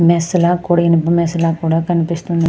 Mace ల కుడి mess ల కూడా కనిపిస్తూ వుందు అమంది.